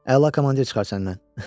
Əla komandir çıxar səndən.